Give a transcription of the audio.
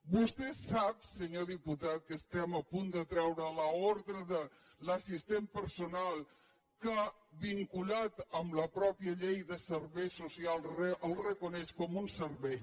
vostè sap senyor diputat que estem a punt de treure l’ordre de l’assistent personal que vinculat amb la mateixa llei de serveis socials el reconeix com un servei